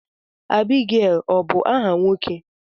Abigail ọ bu áhà nwoke?